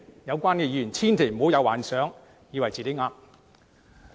有關議員千萬不要因而幻想自己是對的。